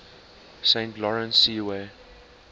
saint lawrence seaway